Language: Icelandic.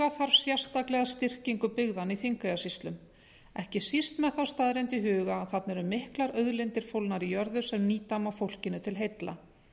huga þarf sérstaklega að styrkingu byggðanna í þingeyjarsýslum ekki síst með þá staðreynd í huga að þarna eru miklar auðlindir fólgnar í jörðu sem nýta má fólkinu til heilla